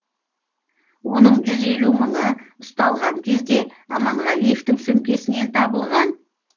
оның жүз елу мыңы ұсталған кезде аманғалиевтың сөмкесінен табылған